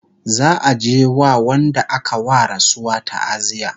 za'a je a wa Wanda aka wa rasuwa taaziya